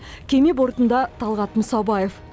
кеме бортында талғат мұсабаев